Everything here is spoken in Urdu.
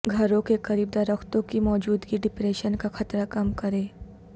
گھروں کے قریب درختوں کی موجودگی ڈپریشن کا خطرہ کم کرے